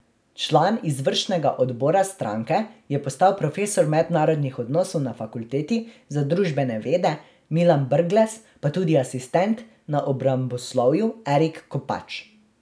Član izvršnega odbora stranke je postal profesor mednarodnih odnosov na Fakulteti za družbene vede Milan Brglez, pa tudi asistent na obramboslovju Erik Kopač.